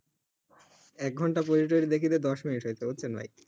এক ঘণ্টা পড়ে টরে দেখি যে দশ মিনিট হয়েছে